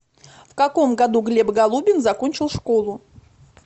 в каком году глеб голубин закончил школу